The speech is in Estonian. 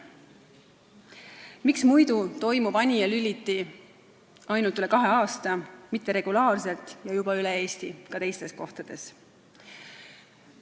Miks muidu toimub Anija Lüliti üle kahe aasta, mitte regulaarselt ja ka teistes Eesti kohtades?